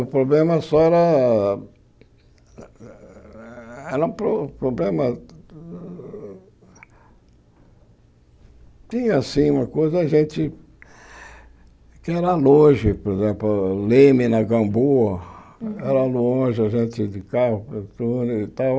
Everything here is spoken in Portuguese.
O problema só era... Era um pro problema... Tinha, sim, uma coisa, a gente... Que era longe, por exemplo, Leme, na Gamboa, era longe a gente de carro.